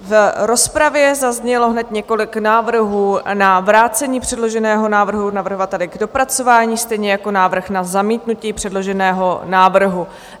V rozpravě zaznělo hned několik návrhů na vrácení předloženého návrhu navrhovateli k dopracování, stejně jako návrh na zamítnutí předloženého návrhu.